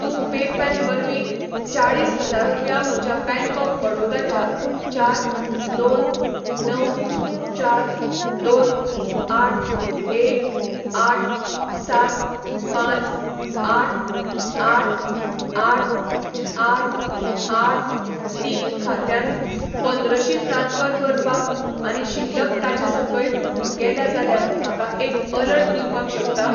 तूं पेपॅल वरवीं चाळीस हजार रुपया म्हज्या बॅंक ऑफ बडाैदा च्या चार दोन णव चार दोन आठ एक आठ सात पांच आठ आठ आठ आठ आठ तीन खात्यांत पंद्रशी ट्रान्स्फर करपाक आनी शिल्लक ताचे सकयल गेल्या जाल्यार म्हाका एक अलर्ट दिवपाक शकता?